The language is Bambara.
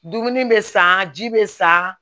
Dumuni bɛ san ji bɛ san